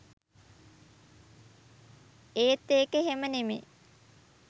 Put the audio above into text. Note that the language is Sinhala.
එත් ඒක එහෙම නෙමේ